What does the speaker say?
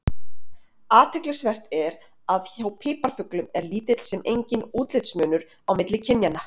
Athyglisvert er að hjá piparfuglum er lítill sem enginn útlitsmunur á milli kynjanna.